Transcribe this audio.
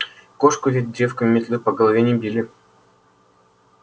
кошку ведь девком метлы по голове не били